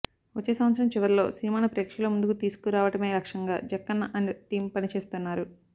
వచ్చే సంవత్సరం చివర్లో సినిమాను ప్రేక్షకుల ముందుకు తీసుకు రావడమే లక్ష్యంగా జక్కన్న అండ్ టీం పని చేస్తున్నారు